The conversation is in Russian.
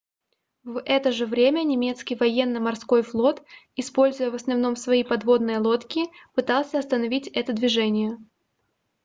в это же время немецкий военно-морской флот используя в основном свои подводные лодки пытался остановить это движение